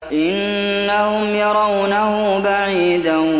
إِنَّهُمْ يَرَوْنَهُ بَعِيدًا